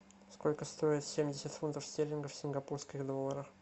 сколько стоит семьдесят фунтов стерлингов в сингапурских долларах